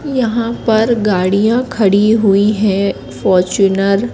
यहां पर गाड़ियां खड़ी हुई हैं फॉरच्यूनर --